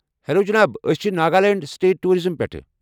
Hello جناب! ٲسۍ چھِ ناگالینڈ سٹیٹ ٹورازم پٮ۪ٹھہٕ ۔